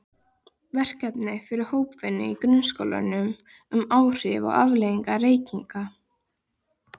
Verkefni fyrir hópvinnu í grunnskólum um áhrif og afleiðingar reykinga.